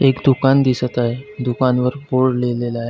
एक दुकान दिसत आहे दुकान वर बोर्ड लिहलेला आहे.